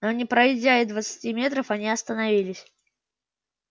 но не пройдя и двадцати метров они остановились